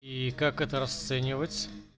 и как это расценивать